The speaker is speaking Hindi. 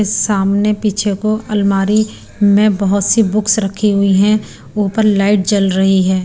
सामने पीछे को अलमारी में बहुत सी बुक्स रखी हुई हैं ऊपर लाइट जल रही है।